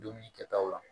Dumuni kɛtaw la